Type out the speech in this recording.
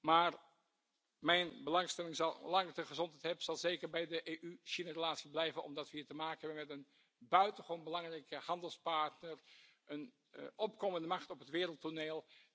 Maar zolang ik de gezondheid heb, zal mijn belangstelling zeker naar de relatie tussen de EU en China blijven uitgaan, omdat we hier te maken hebben met een buitengewoon belangrijke handelspartner en een opkomende macht op het wereldtoneel.